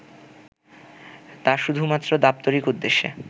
তা শুধুমাত্র দাপ্তরিক উদ্দেশ্যে